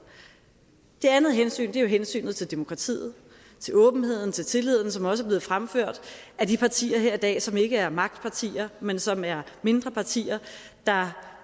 det andet hensyn er hensynet til demokratiet til åbenheden til tilliden som også er blevet fremført af de partier her i dag som ikke er magtpartier men som er mindre partier der